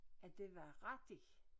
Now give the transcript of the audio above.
At det var rigtigt